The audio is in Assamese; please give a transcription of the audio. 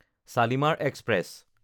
শালিমাৰ এক্সপ্ৰেছ